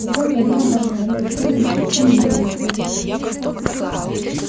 насколько я знаю ваша планета терминус почти не имеет никакой защиты